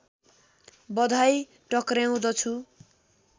बधाई टक्र्याउँदछु